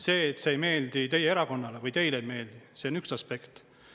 See, et see ei meeldi teie erakonnale või teile ei meeldi, see on üks aspekt.